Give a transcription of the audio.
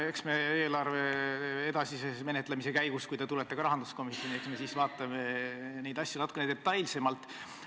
Eks me eelarve edasise menetlemise käigus, kui te tulete rahanduskomisjoni, vaatame neid asju natuke detailsemalt.